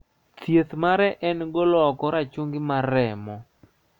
Thieth mare en golo oko rachungi mar remo.